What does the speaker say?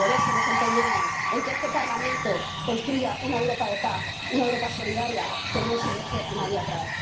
por eso nos empeñamos en que este Parlamento construya una Europa de paz, una Europa solidaria, que no se deje a nadie atrás.